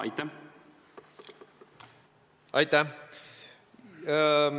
Aitäh!